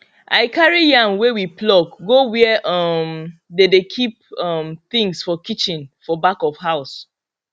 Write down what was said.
i carry yam wey we pluck go where um dey dey keep um things for kitchen for back of house